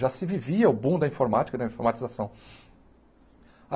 Já se vivia o boom da informática, da informatização.